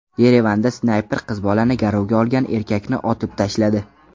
Yerevanda snayper qiz bolani garovga olgan erkakni otib tashladi.